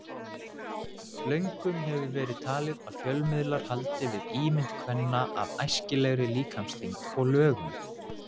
Löngum hefur verið talið að fjölmiðlar haldi við ímynd kvenna af æskilegri líkamsþyngd og lögun.